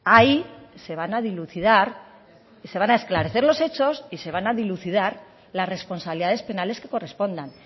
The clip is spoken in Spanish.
ahí se van a esclarecer los hechos y se van a dilucidar las responsabilidades penales que correspondan